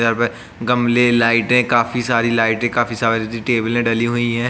यहाँ पे गमले लाइटें काफी सारी लाइटें काफी सारी टेबलें डली हुई हैं।